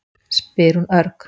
spyr hún örg.